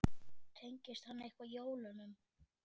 Tengist hann eitthvað jólunum?